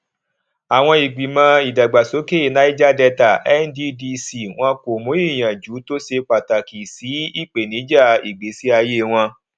àwọn ìgbìmọ ìdàgbàsókè niger delta nddc wọn kò mú ìyànjú tó ṣe pàtàkì sí ìpènijà ìgbésí ayé wọn